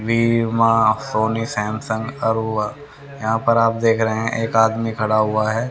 Bhima Sony Samsung अरुवा यहां पर आप देख रहे हैं एक आदमी खड़ा हुआ है।